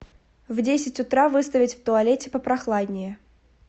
в десять утра выставить в туалете попрохладнее